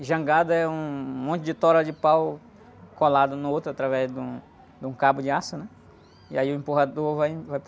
E jangada é um monte de toro de pau colado no outro através de um, de um cabo de aço, né? E aí o empurrador vai, vai